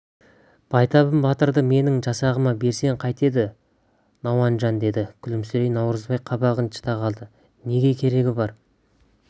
байтабын батырды менің жасағыма берсең қайтеді науанжан деді күлімсірей наурызбай қабағын шыта қалды неге керегі бар